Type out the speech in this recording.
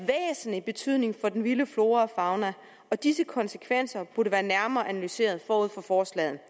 en væsentlig betydning for den vilde flora og fauna og at disse konsekvenser burde være nærmere analyseret forud for forslaget